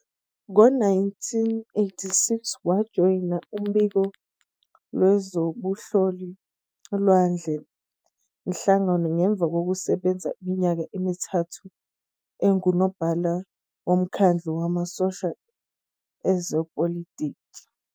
Ngo-1986, wajoyina uphiko lwezobunhloli lwale nhlangano ngemuva kokusebenza iminyaka emithathu engunobhala womkhandlu wamasosha ezepolitiki.